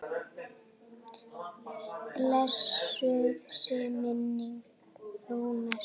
Blessuð sé minning Rúnars.